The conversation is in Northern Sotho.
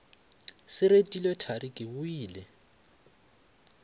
se retilwe thari ke boile